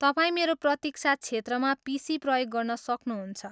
तपाईँ मेरो प्रतीक्षा क्षेत्रमा पिसी प्रयोग गर्न सक्नुहुन्छ।